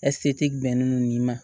ɛsike bɛnnen don nin ma